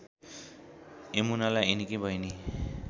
यमुनालाई यिनकी बहिनी